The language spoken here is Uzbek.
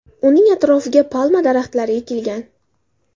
Uning atrofiga palma daraxtlari ekilgan.